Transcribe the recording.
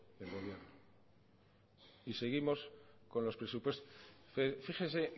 del gobierno y seguimos con los presupuestos fíjese